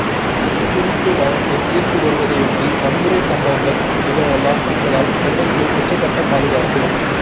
சொத்து குவிப்பு வழக்கு தீர்ப்பு வருவதையொட்டி வன்முறை சம்பவங்கள் நிகழலாம் என்பதால் சென்னைக்கு உச்சக்கட்ட பாதுகாப்பு